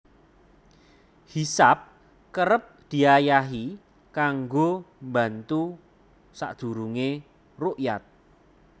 Hisab kerep diayahi kanggo mbantu sadurungé rukyat